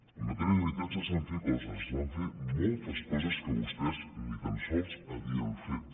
en matèria d’habitatge es van fer coses es van fer moltes coses que vostès ni tan sols havien fet